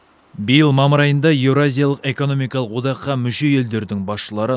биыл мамыр айында еуразиялық экономикалық одаққа мүше елдердің басшылары